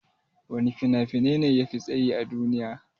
Wana fina-finai ne yafi tsayi a duniya?